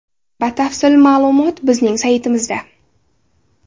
Batafsil ma’lumot bizning saytimizda: .